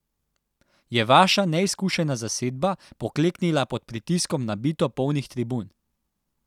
Je vaša neizkušena zasedba pokleknila pod pritiskom nabito polnih tribun?